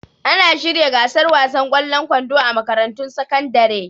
Ana shirya gasar wasan ƙwallon kwando a makarantun sakandare